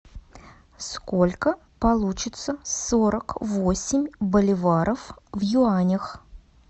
сколько получится сорок восемь боливаров в юанях